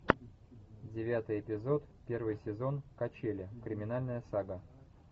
девятый эпизод первый сезон качели криминальная сага